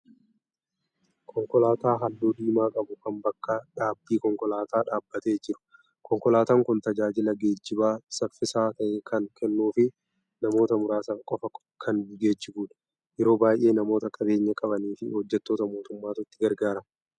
Konkolaataa halluu diimaa qabu kan bakka dhaabbii konkolaataa dhaabbatee jiru. Konkolaataan kun tajaajila geejjibaa saffisaa ta'e kan kennuu fi namoota muraasa qofa kan geejibudha. Yeroo baay'ee namoota qabeenya qabanii fi hojjettoota mootummaatu itti gargaarama.